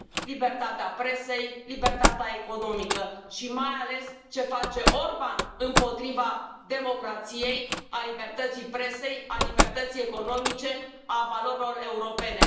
libertatea presei, libertatea economică și, mai ales, ce face Orban împotriva democrației, a libertății presei, a libertății economice, a valorilor europene.